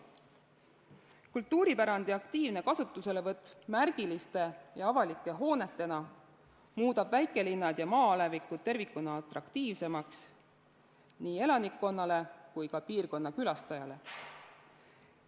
Kultuuripärandi aktiivne kasutuselevõtt märgiliste ja avalike hoonetena muudab väikelinnad ja maa-alevikud tervikuna atraktiivsemaks nii elanikule kui ka piirkonna külastajale.